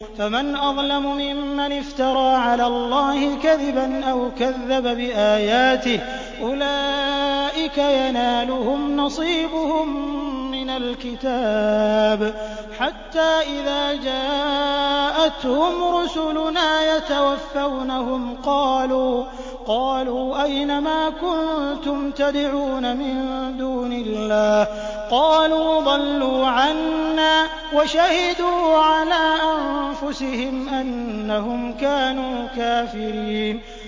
فَمَنْ أَظْلَمُ مِمَّنِ افْتَرَىٰ عَلَى اللَّهِ كَذِبًا أَوْ كَذَّبَ بِآيَاتِهِ ۚ أُولَٰئِكَ يَنَالُهُمْ نَصِيبُهُم مِّنَ الْكِتَابِ ۖ حَتَّىٰ إِذَا جَاءَتْهُمْ رُسُلُنَا يَتَوَفَّوْنَهُمْ قَالُوا أَيْنَ مَا كُنتُمْ تَدْعُونَ مِن دُونِ اللَّهِ ۖ قَالُوا ضَلُّوا عَنَّا وَشَهِدُوا عَلَىٰ أَنفُسِهِمْ أَنَّهُمْ كَانُوا كَافِرِينَ